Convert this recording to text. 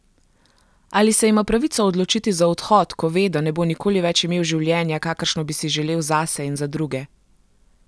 Ali se ima pravico odločiti za odhod, ko ve, da ne bo nikoli več imel življenja, kakršno bi si želel zase in za druge?